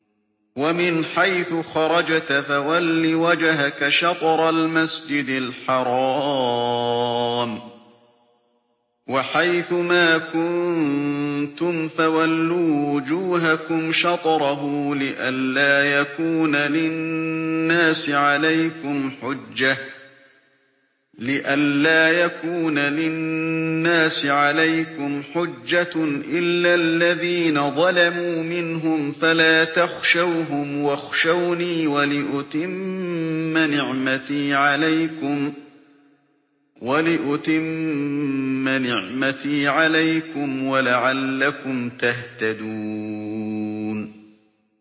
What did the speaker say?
وَمِنْ حَيْثُ خَرَجْتَ فَوَلِّ وَجْهَكَ شَطْرَ الْمَسْجِدِ الْحَرَامِ ۚ وَحَيْثُ مَا كُنتُمْ فَوَلُّوا وُجُوهَكُمْ شَطْرَهُ لِئَلَّا يَكُونَ لِلنَّاسِ عَلَيْكُمْ حُجَّةٌ إِلَّا الَّذِينَ ظَلَمُوا مِنْهُمْ فَلَا تَخْشَوْهُمْ وَاخْشَوْنِي وَلِأُتِمَّ نِعْمَتِي عَلَيْكُمْ وَلَعَلَّكُمْ تَهْتَدُونَ